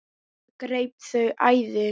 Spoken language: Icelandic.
Það greip þau æði.